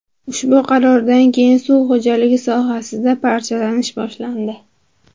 Ushbu qarordan keyin suv xo‘jaligi sohasida parchalanish boshlandi.